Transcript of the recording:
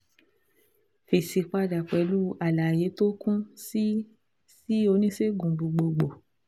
Fèsì padà pẹ̀lú àlàyé tó kún sí sí oníṣègùn gbogbogbò